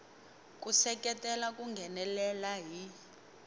ku seketela ku nghenelela hi